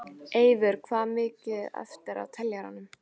Eyvör, hvað er mikið eftir af niðurteljaranum?